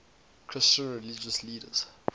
christian religious leaders